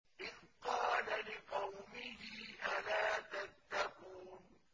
إِذْ قَالَ لِقَوْمِهِ أَلَا تَتَّقُونَ